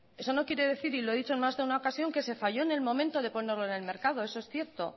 eso no quiere decir y lo he dicho en más de una ocasión que se fallo en el momento de ponerlo en el mercado eso es cierto